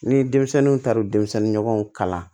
Ni denmisɛnninw taara denmisɛnninɲɔgɔnw kalan